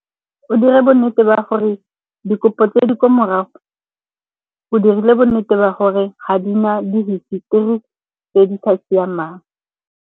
O dire bo nnete ba gore dikopo tse di ko morago o dirile bonnete ba gore ga di na dihistori tse di sa siamang.